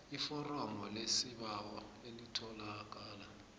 iforomo lesibawo elitholakala